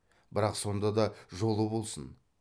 бірақ сонда да жолы болсын